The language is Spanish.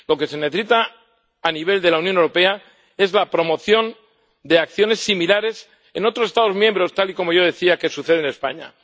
Lo que se necesita a nivel de la Unión Europea es la promoción de acciones similares en otros Estados miembros, tal y como yo decía que sucede en España.